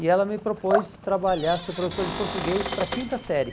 E ela me propôs trabalhar, ser professor de português para a quinta série.